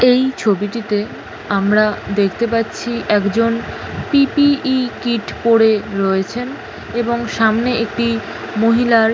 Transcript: এই ছবিটিতে আমরা দেখতে পাচ্ছি একজন পি.পি.ই কীট পরে রয়েছেন এবং সামনে একটি মহিলার--